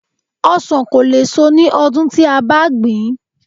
Ọsàn kò lè so ní ọdún tí a bá gbìn ín